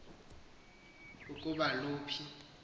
ingathelekisa ukuba loluphi